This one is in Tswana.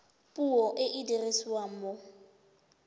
puo e e dirisiwang mo